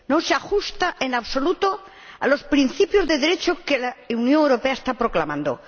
No se ajusta, en absoluto, a los principios de Derecho que la Unión Europea está proclamando.